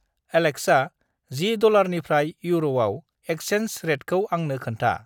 Alexa, जि डलारनिफ्राय इउर'आव एकसेन्सनि रेटखौ आंनो खोन्था।